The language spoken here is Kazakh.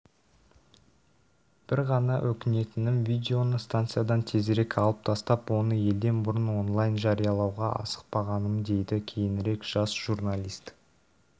бір ғана өкінетінім видеоны станциядан тезірек алып тастап оны елден бұрын онлайн жариялауға асықпағанымдейді кейінірек жас журналист